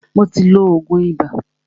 Mó tí ló oògùn ibà.